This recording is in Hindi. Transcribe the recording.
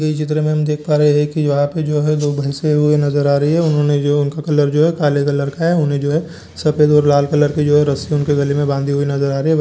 ये चित्र मे हम देख पा रहे है की यहां जो है भैस हैवो नजर आ रही है उन्होंने जो है उनका कलर जो है काले कलर का है उन्होंने जो है सफेद और लाल कलर की जो है रस्सी उनके गले मे बाँधी नजर आ रही है।